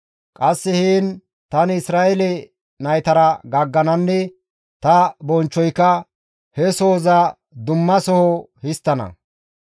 Qasse heen tani Isra7eele naytara gaaggananne ta bonchchoyka he sohoza dumma soho histtana.